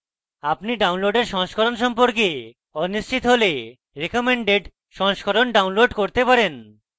আপনি download সংস্করণ সম্পর্কে অনিশ্চিত হলে recommended সংস্করণ download করতে পারেন